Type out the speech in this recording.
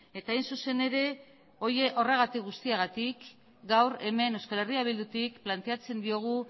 eta hain zuzen ere horregatik guztiagatik gaur hemen euskal herria bildutik planteatzen diogu